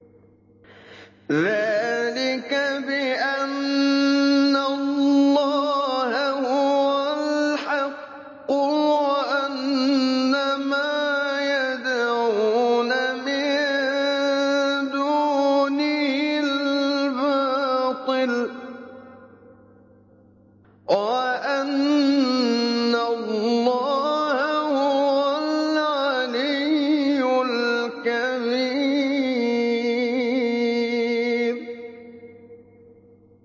ذَٰلِكَ بِأَنَّ اللَّهَ هُوَ الْحَقُّ وَأَنَّ مَا يَدْعُونَ مِن دُونِهِ الْبَاطِلُ وَأَنَّ اللَّهَ هُوَ الْعَلِيُّ الْكَبِيرُ